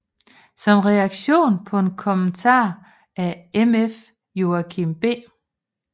Som reaktion på en kommentar af MF Joachim B